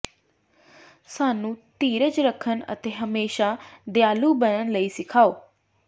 ਸਾਨੂੰ ਧੀਰਜ ਰੱਖਣ ਅਤੇ ਹਮੇਸ਼ਾਂ ਦਿਆਲੂ ਬਣਨ ਲਈ ਸਿਖਾਓ